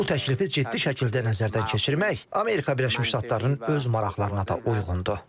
Bu təklifi ciddi şəkildə nəzərdən keçirmək Amerika Birləşmiş Ştatlarının öz maraqlarına da uyğundur.